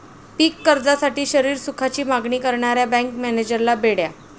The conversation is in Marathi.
पीक कर्जासाठी शरीरसुखाची मागणी करणाऱ्या बँक मॅनेजरला बेड्या